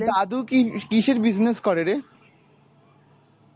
তোর দাদু কি, কিসের business করে রে?